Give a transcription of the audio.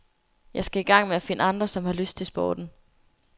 Jeg skal i gang med at finde andre, som har lyst til sporten.